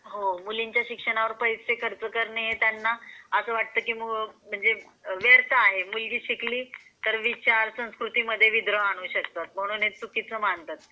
हो मुलींच्या शिक्षणावर पैसे खर्च करणे हे त्यांना असं वाटतं की म्हणजे व्यर्थ आहे म्हणजे हि मुलगी शिकली तर विचार संस्कृतीमध्ये विद्रोह आणू शकतात म्हणून चुकीचं मानतात ते.